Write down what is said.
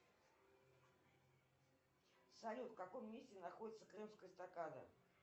салют в каком месте находится крымская эстакада